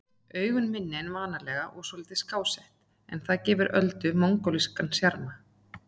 Augun minni en venjulega og svolítið skásett, en það gefur Öldu mongólskan sjarma.